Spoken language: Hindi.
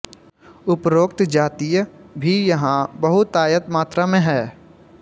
उपरोक्त जातीय भी यहाँ बहुतायत मात्रा में है